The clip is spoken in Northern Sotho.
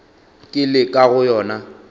ke le ka go yona